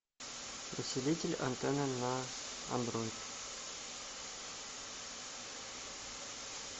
усилитель антенны на андроид